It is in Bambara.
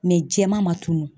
jɛman ma tunu.